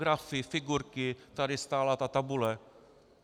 Grafy, figurky, tady stála ta tabule.